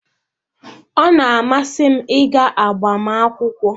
Ọ na-amasị m ịga agbamakwụkwọ